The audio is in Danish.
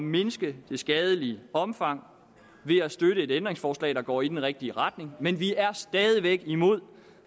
mindske det skadelige omfang ved at støtte et ændringsforslag der går i den rigtige retning men vi er stadig væk imod